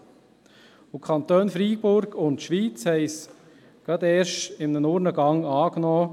Die Kantone Freiburg und Schwyz haben es gerade erst in einem Urnengang angenommen;